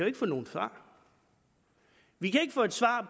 ikke få noget svar vi kan ikke få et svar